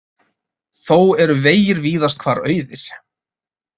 Þó eru vegir víðast hvar auðir